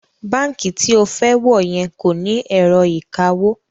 Báǹkì tí o fẹ́ wọ̀ yẹn kò ní ẹ̀rọ ìkawó